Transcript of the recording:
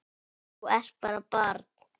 Þú ert bara barn.